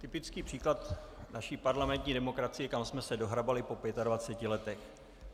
Typický příklad naší parlamentní demokracie, kam jsme se dohrabali po 25 letech.